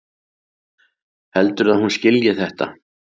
Heldurðu að hún skilji þetta?